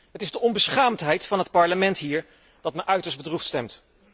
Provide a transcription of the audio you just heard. Het is de onbeschaamdheid van het Parlement hier die me uiterst bedroefd stemt.